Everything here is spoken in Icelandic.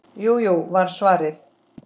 Jú, jú var svarið.